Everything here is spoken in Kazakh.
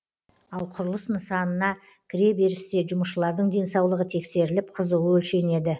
ал құрылыс нысанына кіре берісте жұмысшылардың денсаулығы тексеріліп қызуы өлшенеді